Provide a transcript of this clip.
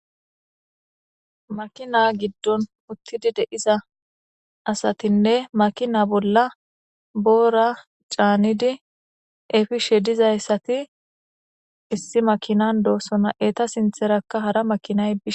Maakina giddon uttidi de7iza asatinne maakina bolla boora caanidi eppishe dizayssati issi maakinan doossona eta sintherakka hara maakinay bishshe...